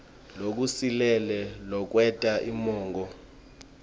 lokusilele lokwenta umongo